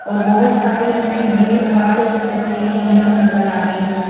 और बहुत सारी हमें भीड़-भाड़ इस तस्वीर के अंदर नजर आ रही है ।